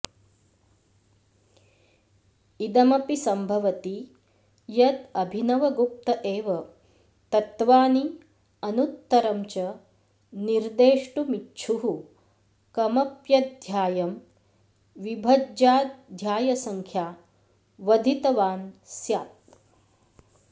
इदमपि सम्भवति यदभिनवगुप्त एव तत्त्वानि अनुत्तरं च निर्देष्टुमिच्छुः कमप्यध्यायं विभज्याध्यायसंख्या वधितवान् स्यात्